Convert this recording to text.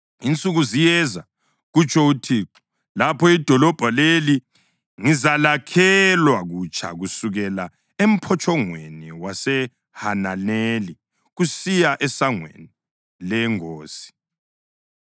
“Insuku ziyeza,” kutsho uThixo, “lapho idolobho leli ngizalakhelwa kutsha kusukela eMphotshongweni waseHananeli kusiya eSangweni leNgosi.